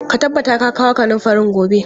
Ka tabbata ka kawo kanunfarin gobe!